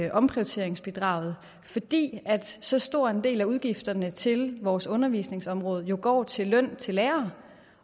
af omprioriteringsbidraget fordi så stor en del af udgifterne til vores undervisningsområde jo går til løn til lærere